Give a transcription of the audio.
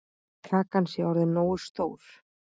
Kakan sé orðin nógu stór.